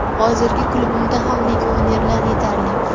Hozirgi klubimda ham legionerlar yetarli.